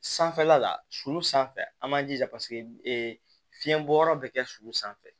Sanfɛla la sulu sanfɛ an b'an jija paseke fiyɛnbɔ yɔrɔ bɛ kɛ su sanfɛ